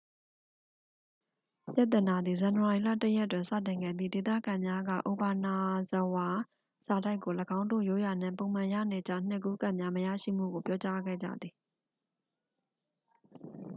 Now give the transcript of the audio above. ပြဿနာသည် ဇန်နဝါရီ 1ရက်တွင် စတင်ခဲ့ပြီး ဒေသခံများက အိုဘာနာဇဝါ စာတိုက်ကို ၎င်းတို့ ရိုးရာနှင့် ပုံမှန်ရနေကျ နှစ်ကူးကတ်များမရရှိမှုကို ပြောကြားခဲ့ကြသည်